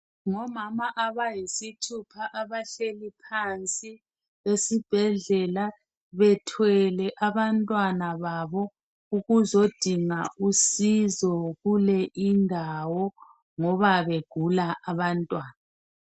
Ngomama abayisithupha abahleli phansi esibhedlela bethwele abantwana babo ukuzodinga usizo kule indawo ngoba begula abantwana.